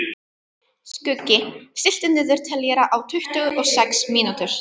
Skuggi, stilltu niðurteljara á tuttugu og sex mínútur.